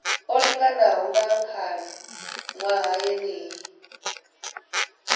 o linganaho nga khalaṅwaha yeneyo